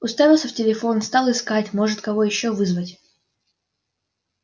уставился в телефон стал искать может кого ещё вызвать